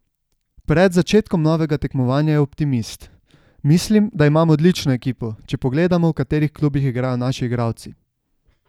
Pred začetkom novega tekmovanja je optimist: "Mislim, da imamo odlično ekipo, če pogledamo, v katerih klubih igrajo naši igralci.